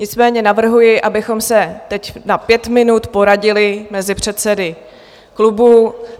Nicméně navrhuji, abychom se teď na pět minut poradili mezi předsedy klubů.